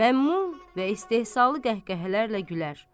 məmnun və istehzalı qəhqəhələrlə gülər.